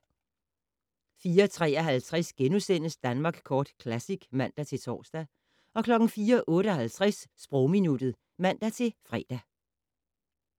04:53: Danmark Kort Classic *(man-tor) 04:58: Sprogminuttet (man-fre)